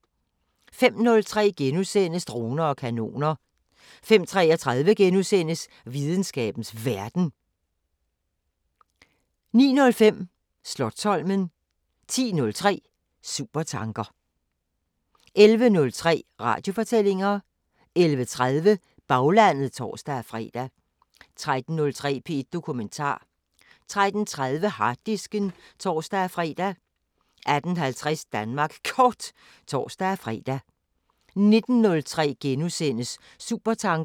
05:03: Droner og kanoner * 05:33: Videnskabens Verden * 09:05: Slotsholmen 10:03: Supertanker 11:03: Radiofortællinger 11:30: Baglandet (tor-fre) 13:03: P1 Dokumentar 13:30: Harddisken (tor-fre) 18:50: Danmark Kort (tor-fre) 19:03: Supertanker *